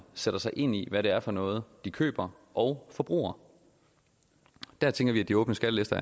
sætte sig ind i hvad det er for noget de køber og forbruger der tænker vi at de åbne skattelister